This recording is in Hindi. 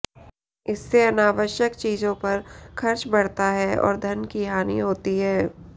इससे अनावश्यक चीजों पर खर्च बढ़ता है और धन की हानि होती है